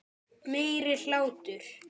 Meiri hlátur.